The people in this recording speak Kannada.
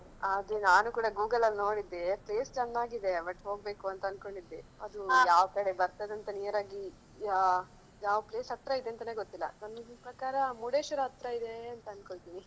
ಅದೇ ನಾನು ಕೂಡ Google ಅಲ್ಲಿ ನೋಡಿದ್ದೆ place ಚೆನ್ನಾಗಿದೆಯಾ but ಹೋಗ್ಬೇಕು ಅಂತ ಅನ್ಕೊಂಡಿದ್ದೆ. ಅದು ಯಾವ ಕಡೆ ಬರ್ತದೆ ಅಂತ near ಆಗಿ ಯಾ~ ಯಾವ place ಹತ್ರ ಇದೆಂತಾನೆ ಗೊತ್ತಿಲ್ಲಾ ನನ್ ಪ್ರಕಾರ ಮುರ್ಡೇಶ್ವರ ಹತ್ರ ಇದೆ ಅಂತ ಅನ್ಕೊಂಡ್ತೇನೆ.